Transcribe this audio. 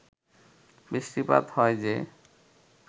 বৃষ্টিপাত হয় যে